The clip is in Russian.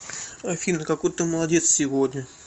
афина какой ты молодец сегодня